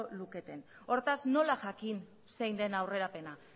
luketen hortaz nola jakin zein den aurrerapena